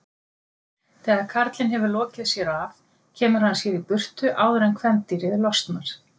Þegar karlinn hefur lokið sér af kemur hann sér í burtu áður en kvendýrið losnar.